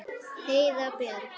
Heiða Björg.